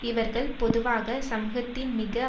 இவர்கள் பொதுவாக சமூகத்தின் மிக